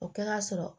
O kɛra sɔrɔ